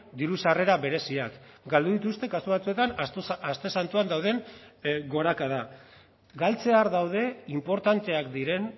diru sarrera bereziak galdu dituzte kasu batzuetan aste santuan dauden gorakada galtzear daude inportanteak diren